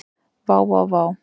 Vá vá vá.